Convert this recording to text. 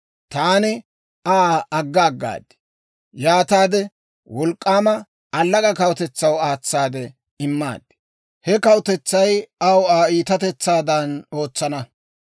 taani Aa agga aggaad; yaataade wolk'k'aama, allaga kawutetsaw aatsaade immaad. He kawutetsay aw Aa iitatetsaadan ootsana.